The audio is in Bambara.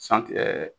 santi ɛ